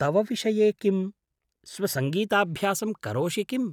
तव विषये किं; स्वसङ्गीताभ्यासं करोषि किम्?